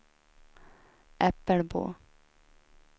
Äppelbo